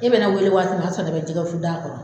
E bɛ ne wele waati min na , o b'a sɔrɔ ne bɛ jɛgɛfundaa kɔrɔ